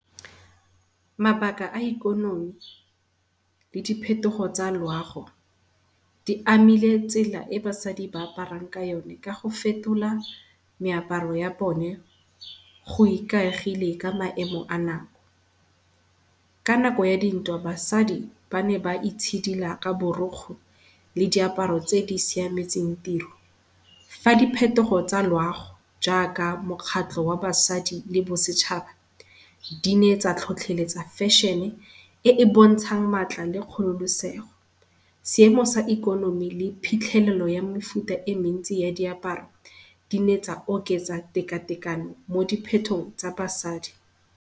Mabaka a ikonomi le diphetogo tsa loago, di amile tsela e basadi ba aparang ka yone ka go fetola meaparo ya bone go ikaegile ka maemo a nako. Ka nako ya dintwa basadi bane ba itshidila ka borokgo le diaparo tse di siametseng tiro. Fa di phetogo tsa loago jaaka mokgatlho wa basadi le bosetšhaba di ne tsa tlhotlheletsa fashion-e, e e bontshang matla le kgololosego. Seemo sa ikonomi le phitlhelelo ya mefuta e mentsi ya diaparo, di ne tsa oketsa tekatekano mo diphetong tsa basadi.